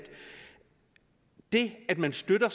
det at man støtter